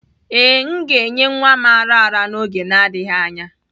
Ee, m ga-enye nwa m ara ara n'oge adịghị anya.